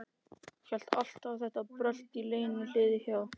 Hélt alltaf að þetta brölt í Lenu liði hjá.